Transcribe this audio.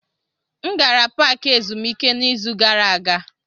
M gara paaki ezumike n'izu gara aga.